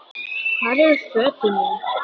Hvar eru fötin mín.?